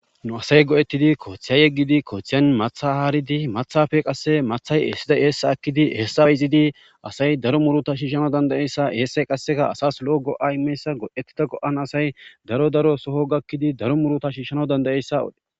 Nu asay go'etidi kothe yegidi kothen matha haridi mathape qase mathay esida essa ezisidi asay daro muruta shishanaysa lo'o go'a imanaysa ha misiley qoncises